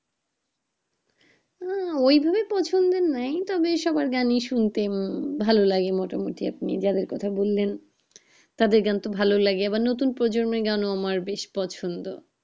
না ওই ভাবে পছন্দের নাই তবে সবার গানই শুনতে আহ ভালো লাগে মোটা মুটি আপনি যাদের কথা বলেন তাদের গান তো ভালো লাগে আবার নতুন প্রজন্মের গানও আমার বেশ পছন্দের